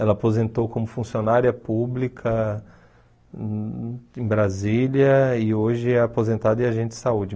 Ela aposentou como funcionária pública em Brasília e hoje é aposentada e agente de saúde.